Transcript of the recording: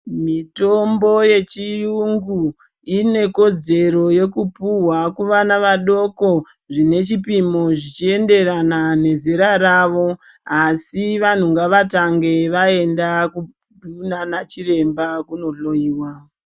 Mitombo yechiyungu inekodzero yekupuhwa kuvana vadoko zvine chipimo zvichienderana nezera ravo. Asi vantu ngavatange vaenda kunana chiremba kunohloiwa.